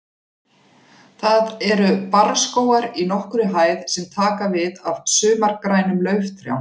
Þar eru barrskógar í nokkurri hæð sem taka við af sumargrænum lauftrjám.